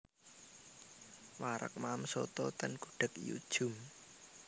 Wareg maem soto ten Gudeg Yu Djum